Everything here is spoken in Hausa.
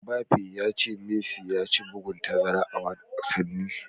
Mbappe ya ce Messi ya ci bugun tazara a wasanni.